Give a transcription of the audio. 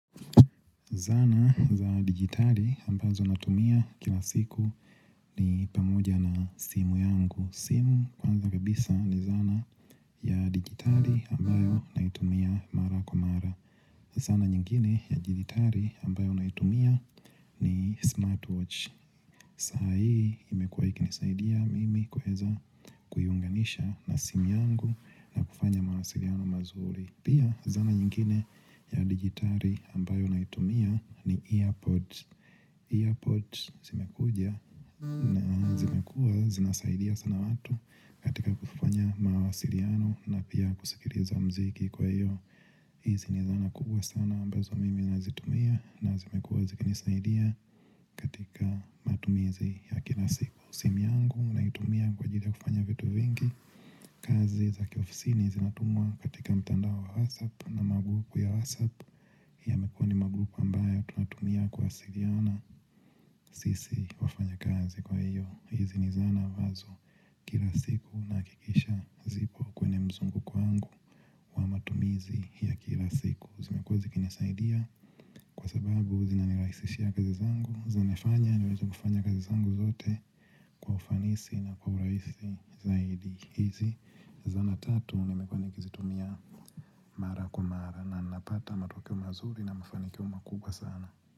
Zana za digitali ambazo natumia kila siku ni pamoja na simu yangu. Simu kwanza kabisa ni zana ya digitali ambayo naitumia mara kwa mara. Zana nyingine ya digitali ambayo naitumia ni smartwatch. Sa hii imekuwa ikinisaidia mimi kuweza kuiunganisha na simu yangu na kufanya mawasiliano mazuri. Pia zana nyingine ya digitali ambayo naitumia ni earpods Earpods zimekuja na zimekuwa zinasaidia sana watu katika kufanya mawasiliano na pia kusikiliza mziki kwa hiyo hizi ni zana kubwa sana ambazo mimi nazitumia na zimekuwa zikinisaidia katika matumizi ya kila siku. Simu yangu naitumia kwa ajili ya kufanya vitu vingi. Kazi za kiofisini zinatumwa katika mtandao wa WhatsApp na magrupu ya WhatsApp. Yamekuwa ni magrupu ambayo tunatumia kuwasiliana. Sisi wafanyakazi kwa hiyo hizi ni zana ambazo kila siku nahakikisha zipo kwenye mzunguko waangu matumizi ya kila siku zimekuwa zikinisaidia kwa sababu zinanirahisishia kazi zangu. Zimefanya niweza kufanya kazi zangu zote kwa ufanisi na kwa urahisi zaidi hizi zana tatu nimekuwa nikizitumia mara kwa mara na napata matokeo mazuri na mafanikio makubwa sana.